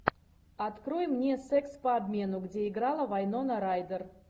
открой мне секс по обмену где играла вайнона райдер